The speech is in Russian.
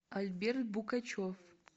альберт букачев